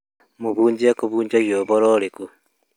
Mũhunjia akũhunjagia ũhoro ũrĩkũ